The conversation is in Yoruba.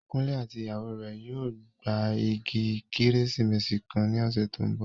Kunle àti ìyàwó rẹ̀ yóò gba igi Kérésìmesì kan ní ọ̀sẹ̀ tó ń bọ̀